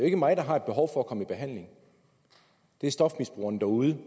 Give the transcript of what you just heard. ikke mig der har behov for at komme i behandling det er stofmisbrugerne derude